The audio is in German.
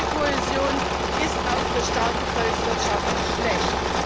Fehlende Kohäsion ist auch für starke Volkswirtschaften schlecht.